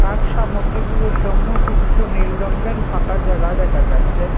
কাঠ সামগ্রী গুলোর সম্মুখে কিছু নীল রংয়ের ফাঁকা জায়গা দেখা যাচ্ছে।